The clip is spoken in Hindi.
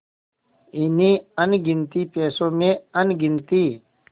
इन्हीं अनगिनती पैसों में अनगिनती